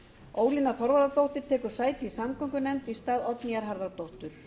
ólína þorvarðardóttir tekur sæti í samgöngunefnd í stað oddnýjar harðardóttur